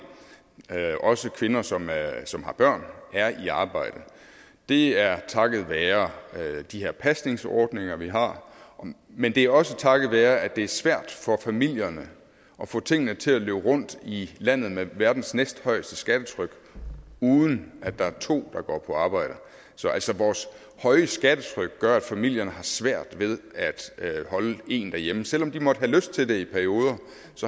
også kvinder som som har børn er i arbejde det er takket være de her pasningsordninger vi har men det er også takket være at det er svært for familierne at få tingene til at løbe rundt i landet med verdens næsthøjeste skattetryk uden at der er to der går på arbejde så altså vores høje skattetryk gør at familierne har svært ved at holde en hjemme selv om de måtte have lyst til det i perioder